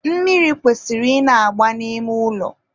mmiri kwesịrị ị na-agba n'ime ụlọ.